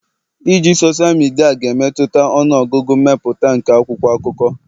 iji sosal midia ga-emetụta ọnụ ọgụgụ mmepụta nke akwụkwọ akụkọ